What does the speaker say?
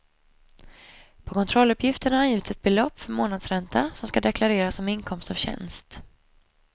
På kontrolluppgiften har angivits ett belopp för förmånsränta som skall deklareras som inkomst av tjänst.